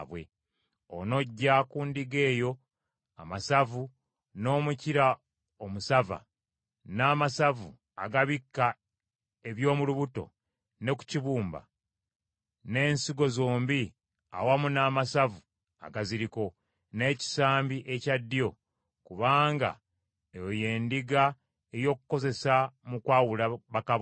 “Onoggya ku ndiga eyo amasavu, n’omukira omusava, n’amasavu agabikka eby’omu lubuto ne ku kibumba, n’ensigo zombi awamu n’amasavu agaziriko, n’ekisambi ekya ddyo; kubanga eyo y’endiga ey’okukozesa mu kwawula bakabona.